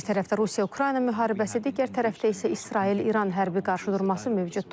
Bir tərəfdə Rusiya-Ukrayna müharibəsi, digər tərəfdə isə İsrail-İran hərbi qarşıdurması mövcuddur.